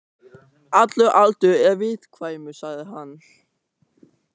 Allur aldur er viðkvæmur, sagði hann.